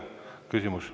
Aitäh!